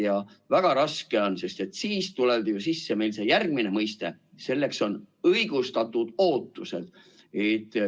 Ja väga raske on, sest siis tuleb meil sisse järgmine mõiste: see on "õigustatud ootused".